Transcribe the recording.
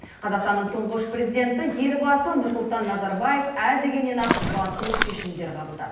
қазақстанның тұңғыш президенті елбасы нұрсұлтан назарбаев ә дегеннен ақ батыл шешімдер қабылдады